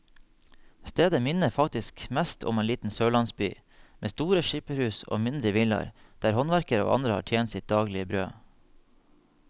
Stedet minner faktisk mest om en liten sørlandsby, med store skipperhus og mindre villaer der håndverkere og andre tjente sitt daglige brød.